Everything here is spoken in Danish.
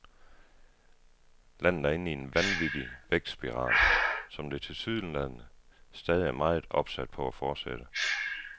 Landet er inde i en vanvittig vækstspiral, som det tilsyneladende stadig er meget opsat på at fortsætte.